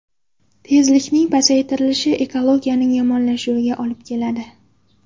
Tezlikning pasaytirilishi ekologiyaning yomonlashuviga olib keladi.